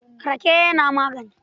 Rake yana magani.